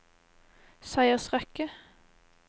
seiersrekke